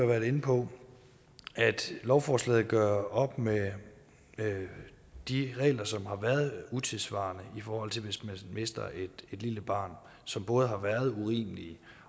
været inde på at lovforslaget gør op med de regler som har været utidssvarende i forhold til hvis man mister et lille barn de som både har været urimelige